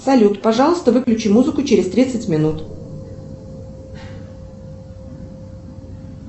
салют пожалуйста выключи музыку через тридцать минут